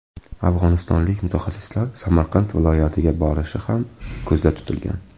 Afg‘onistonlik mutaxassislar Samarqand viloyatiga borishi ham ko‘zda tutilgan.